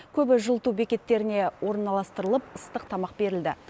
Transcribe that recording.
көбі жылыту бекеттеріне орналастырылып ыстық тамақ берілді